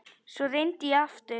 Svo reyndi ég aftur.